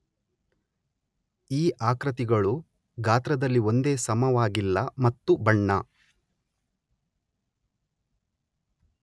ಈ ಆಕೃತಿಗಳು ಗಾತ್ರದಲ್ಲಿ ಒಂದೇ ಸಮವಾಗಿಲ್ಲ ಮತ್ತು ಬಣ್ಣ